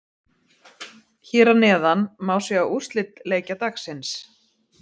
Hér að neðan má sjá úrslit leikja dagsins.